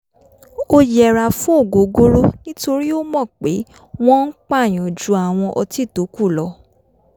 ó yẹra fún ògógóró nítorí ó mọ̀ pé wọ́n ń pàyàn ju àwọn ọtí tókù lọ